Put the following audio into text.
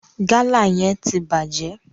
Gala yẹn ti bàjẹ́.